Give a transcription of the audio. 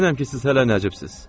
Əminəm ki, siz hələ nəcibsiz.